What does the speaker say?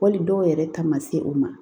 Wali dɔw yɛrɛ ta ma se o ma